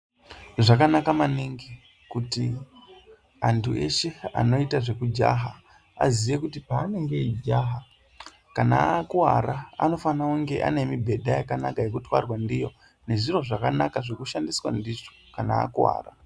Zvakanaka maningi kuti antu eshe anoita zvekujaha aziye kuti paanenge eijaha kana akuwara anofana kunge anemibhedha yakanaka yekutwarwa ndiyo, nezviro zvakanaka zvekushandiswa ndizvo kana akuwara.